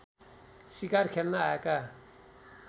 सिकार खेल्न आएका